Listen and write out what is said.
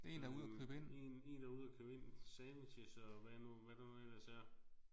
Øh en en der er ude og købe ind sandwichs og hvad nu hvad der nu ellers er